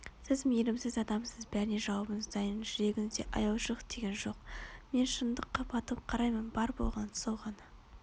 сіз мейірімсіз адамсыз бәріне жауабыңыз дайын жүрегіңізде аяушылық деген жоқ мен шындыққа батыл қараймын бар болғаны сол ғана